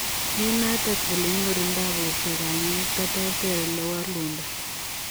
Eng notok, olenyorundoi portoo kanyaet koterter olewalundoi.